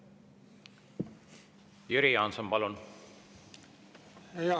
Jüri Jaanson, palun!